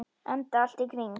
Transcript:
Enda allt í kring.